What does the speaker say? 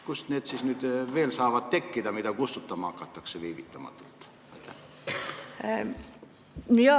Kust siis saavad tekkida need andmed, mida hakatakse viivitamata kustutama?